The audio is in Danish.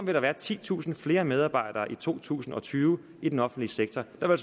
der være titusind flere medarbejdere i to tusind og tyve i den offentlige sektor der vil